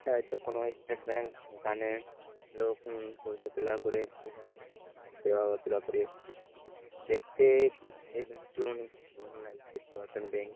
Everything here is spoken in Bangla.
দায়তো কোনো স্টেট ব্যাঙ্ক এখানে লোক উম পয়সা তোলা করে বোঝা দেওয়া বা তোলা করে দেখতে-এ এই ব্যাঙ্ক -টিও অনেক পুরানো লাগছে পুরাতন ব্যাঙ্ক ।